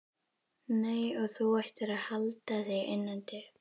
Nei, og þú ættir að halda þig innandyra.